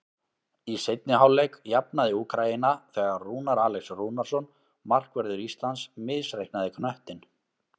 Í seinni hálfleik jafnaði Úkraína þegar Rúnar Alex Rúnarsson, markvörður Íslands, misreiknaði knöttinn.